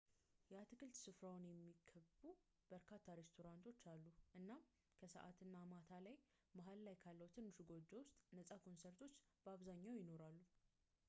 የአትክልት ስፍራውን የሚከቡ በርካታ ሬስቶራንቶች አሉ እናም ከሰዓት እና ማታ ላይ መሃል ላይ ካለው ትንሹ ጎጆ ውስጥ ነጻ ኮንሰርቶች በአብዛኛው ይኖራሉ